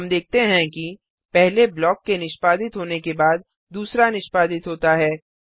हम देखते हैं कि पहले ब्लॉक के निष्पादित होने के बाद दूसरा निष्पादित होता है